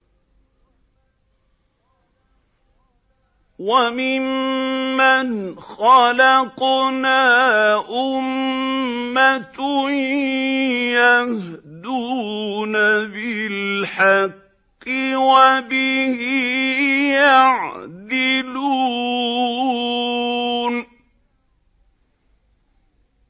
وَمِمَّنْ خَلَقْنَا أُمَّةٌ يَهْدُونَ بِالْحَقِّ وَبِهِ يَعْدِلُونَ